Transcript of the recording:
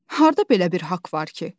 Harda belə bir haqq var ki?